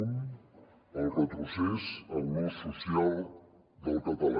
un el retrocés en l’ús social del català